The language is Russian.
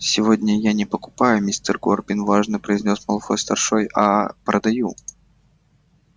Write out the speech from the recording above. сегодня я не покупаю мистер горбин важно произнёс малфой-старший а продаю